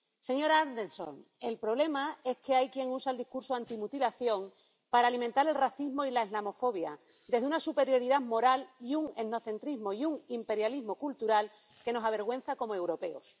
Señora Anderson, el problema es que hay quien usa el discurso antimutilación para alimentar el racismo y la islamofobia desde una superioridad moral y un etnocentrismo y un imperialismo cultural que nos avergüenzan como europeos.